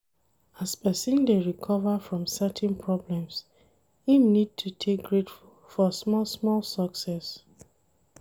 As person dey recover from certain problems, im need to dey grateful for small small success